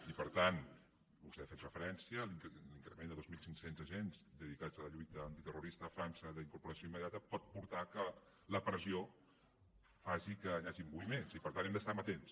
i per tant vostè hi ha fet referència l’increment de dos mil cinc cents agents dedicats a la lluita antiterrorista a frança d’incorporació immediata pot portar que la pressió faci que hi hagin moviments i per tant hem d’estar amatents